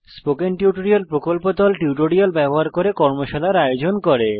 spoken tutorial প্রকল্প দল কথ্য টিউটোরিয়াল গুলি ব্যবহার করে কর্মশালার আয়োজন করে